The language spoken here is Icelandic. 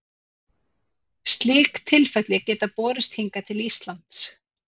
Slík tilfelli geta borist hingað til Íslands.